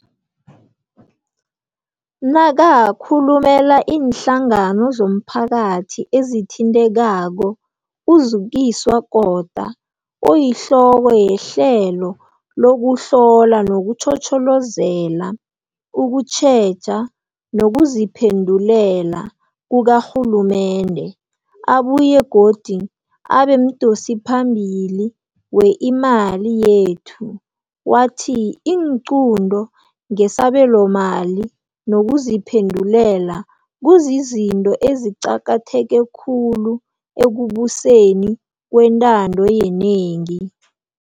Nakakhulumela iinhlangano zomphakathi ezithintekako, uZukiswa Kota, oyihloko yeHlelo lokuHlola nokuTjhotjhozela, ukuTjheja nokuziPhendulela kukaRhulumende, abuye godu abemdosiphambili we-Imali Yethu, wathi iinqunto ngesabelomali nokuziphendulela kuzizinto eziqakatheke khulu ekubuseni ngokwentando yenengi.